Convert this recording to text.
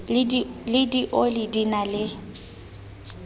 le dioli di na le